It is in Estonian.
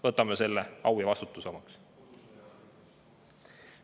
Võtame selle au ja vastutuse omaks.